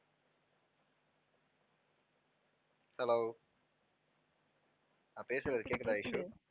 hello நான் பேசுறது கேட்குதா ஐஷு?